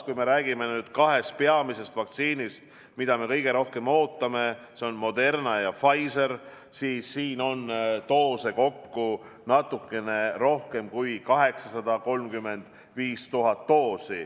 Kui me räägime kahest peamisest vaktsiinist, mida me kõige rohkem ootame, need on Moderna ja Pfizer, siis siin on doose kokku natukene rohkem kui 835 000.